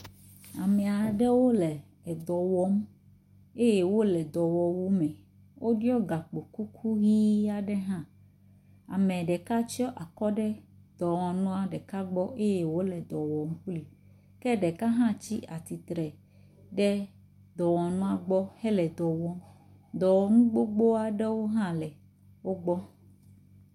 Ame aɖewo le dɔ wɔm. Eye wole dɔwɔwuwo me. Woɖiɔ gakpokuku ʋi aɖe hã. Ame ɖeka tsɔ akɔ ɖe dɔwɔnua ɖeka gbɔ eye wòle dɔ wɔm kpli ke ɖeka hã tsi atsitre ɖe dɔwɔnua gbɔ hele dɔ wɔm. Dɔwɔnu gbogbo aɖewo hã le wogbɔ.